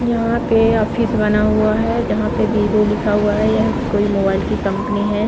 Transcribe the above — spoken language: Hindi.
यहां पे ऑफिस बना हुआ है जहां पे बीवो लिखा हुआ है या कोई मोबाइल की कंपनी है।